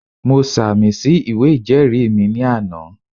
Mo sàmì sí ìwé ìjẹ́ẹ̀rí mi ní àná